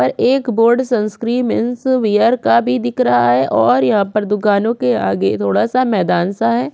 ऊपर एक बोर्ड ( सांस्कृय मेन्स वियर का भी दिख रहा है और यहाँ पर दुकानों के आगे थोड़ा सा मैदान सा है ।